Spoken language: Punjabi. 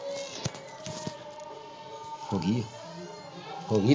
ਹੋ ਗਈ ਹੋ ਗਈ।